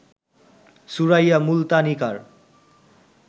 Suraiya Multanikar